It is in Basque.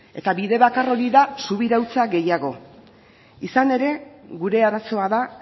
eta bide bakar hori da subirautza gehiago izan ere gure arazoa da